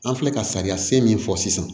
An filɛ ka sariya sen min fɔ sisan